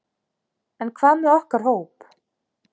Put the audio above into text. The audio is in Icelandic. En hvað með okkar hóp?